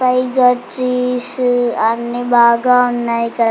పైగా చీజ్ అన్ని బాగా ఉన్నాయ్ కదా.